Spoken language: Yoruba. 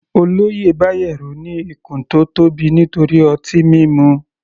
Olóyè Bayero ní ikùn tó tóbi nítorí ọtí mímu.